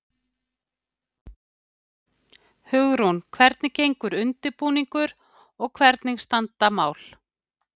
Hugrún, hvernig gengur undirbúningur og hvernig standa mál?